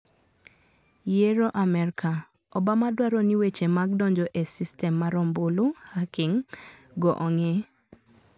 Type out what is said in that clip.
Yiero Amerka: Obama dwaro ni weche mag donjo e sistem mar ombulu (hacking ) go ong`i.